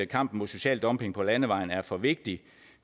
kampen mod social dumping på landevejen er for vigtig